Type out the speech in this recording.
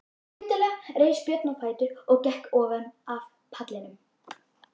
Skyndilega reis Björn á fætur og gekk ofan af pallinum.